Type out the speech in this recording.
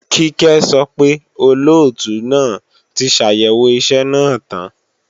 Kíkẹ́ sọ pé, Olóòtú náà ti ṣàyẹ̀wò iṣẹ́ náà tán